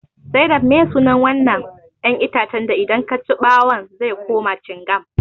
Zainab meye sunan wannan 'yan itacen da idan kaci bawun zai kuma cingam?